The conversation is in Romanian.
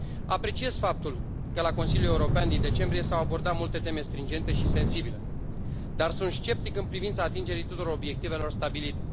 Apreciez faptul că la Consiliul European din decembrie s au abordat multe teme stringente și sensibile, dar sunt sceptic în privința atingerii tuturor obiectivelor stabilite.